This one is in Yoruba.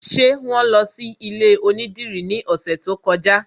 Ṣé wọn lọ sí ilé onídìrí ní ọ̀sẹ̀ tó kọjá?